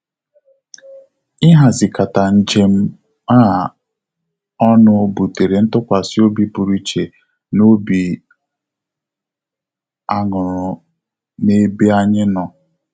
Ihazikata njem a ọnụ butere ntụkwasịobi pụrụ iche na obi aṅurhu na ebe anyị nọ